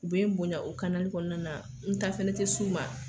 U be n bonya o kanali kɔnɔna na n ta fɛnɛ te s'u ma